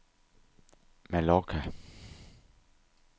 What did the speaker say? Mallorca